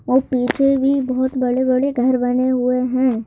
ओर पीछे भी बहुत बड़े-बड़े घर बने हुए हैं।